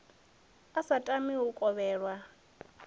a sa tami u kovhelwa